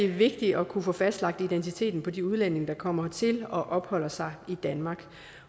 vigtigt at kunne få fastlagt identiteten på de udlændinge der kommer hertil og opholder sig i danmark